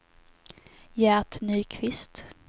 Gert Nyqvist